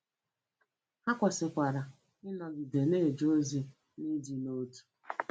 Ha kwesịkwara ịnọgide na-eje ozi n’ịdị n’otu.